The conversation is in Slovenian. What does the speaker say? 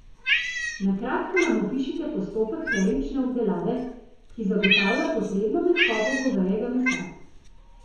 Na kratko nam opišite postopek termične obdelave, ki zagotavlja potrebno mehkobo govejega mesa.